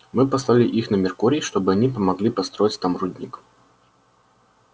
мы послали их на меркурий чтобы они помогли построить там рудник